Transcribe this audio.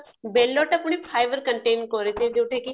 ବେଲ ଟା ପୁଣି ଖାଇବା continue ଯୋଉଟା କି